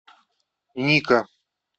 ника